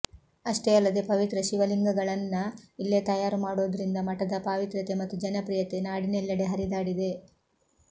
ಅಷ್ಟೇ ಅಲ್ಲದೆ ಪವಿತ್ರ ಶಿವಲಿಂಗಗಳನ್ನ ಇಲ್ಲೇ ತಯಾರು ಮಾಡೋದ್ರಿಂದ ಮಠದ ಪಾವಿತ್ರ್ಯತೆ ಮತ್ತು ಜನಪ್ರಿಯತೆ ನಾಡಿನೆಲ್ಲೆಡೆ ಹರಿದಾಡಿದೆ